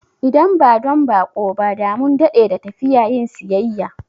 Idan ba don baƙo ba, da mun dade da tafiya yin siyayya